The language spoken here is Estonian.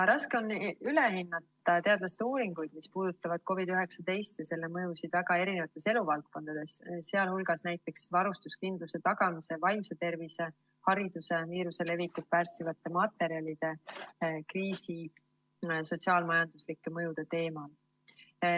Raske on üle hinnata teadlaste uuringuid, mis puudutavad COVID‑19 ja selle mõjusid väga erinevates eluvaldkondades, sh näiteks varustuskindluse tagamise, vaimse tervise, hariduse, viiruse levikut pärssivate materjalide ja kriisi sotsiaal-majanduslike mõjude teemal.